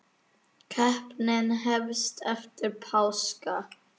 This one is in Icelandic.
Keppnin hefst eftir páska.